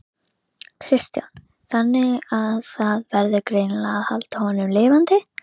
Kristján: Þannig að það verður greinilega að halda honum lifandi?